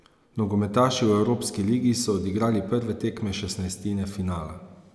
Nogometaši v evropski ligi so odigrali prve tekme šestnajstine finala.